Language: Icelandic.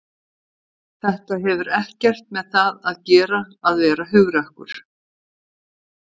Þetta hefur ekkert með það að gera að vera hugrakkur.